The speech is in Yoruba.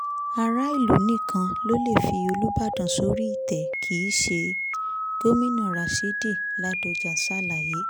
ara ìlú nìkan ló leè fi olùbàdàn sórí ìtẹ́ kìí ṣe gomina rasheed ladoja ṣàlàyé